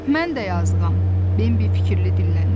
Mən də yazıqam, Bembi fikirli dilləndi.